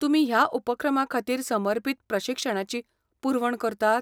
तुमी ह्या उपक्रमांखातीर समर्पीत प्रशिक्षणाची पुरवण करतात?